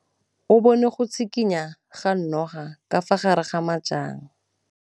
O bone go tshikinya ga noga ka fa gare ga majang.